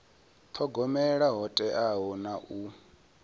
thogomela ho teaho na u